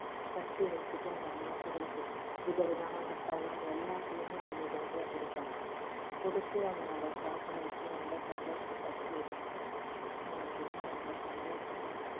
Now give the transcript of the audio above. கட்டி வச்சிட்டு அந்த மாட்டுகளுக்கு விதவிதமான பழம் எல்லாத்தையுமே அன்னைய தினத்துல கொடுப்பாங்க கொடுத்து அவங்க அதை சாப்பிட வச்சி ரொம்ப சந்தோச அவங்களுக்கு இன்னும் ரொம்ப சந்தோசமா இருக்கும்.